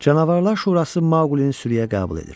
Canavarlar Şurası Maqulini sürüyə qəbul edir.